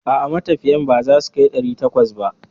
A'a, matafiyan ba za su kai ɗari takwas ba.